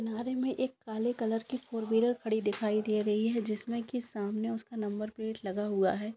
किनारे में एक काले कलर की फोर व्हीलर खड़ी दिखाई दे रही है जिसमें की सामने उसका नंबर प्लेट लगा हुआ है।